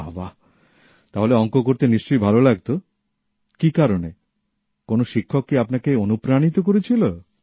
বাহ বাহ তাহলে অংক করতে নিশ্চয়ই ভালো লাগতো কি কারণে কোন শিক্ষক কী আপনাকে অনুপ্রাণিত করেছিল